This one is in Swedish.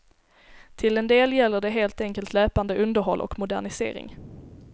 Till en del gäller det helt enkelt löpande underhåll och modernisering.